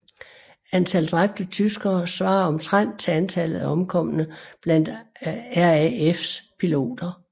Antal dræbte tyskere svarede omtrent til antallet af omkomne blandt RAFs piloter